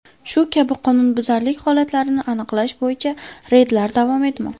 Shu kabi qonunbuzarlik holatlarini aniqlash bo‘yicha reydlar davom etmoqda.